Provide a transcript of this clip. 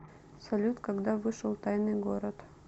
салют когда вышел тайный город